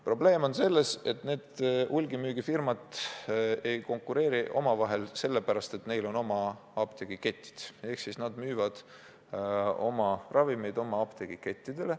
Probleem on selles, et need hulgimüügifirmad ei konkureeri omavahel sellepärast, et neil on oma apteegiketid ja nad müüvad oma ravimeid oma apteegikettidele.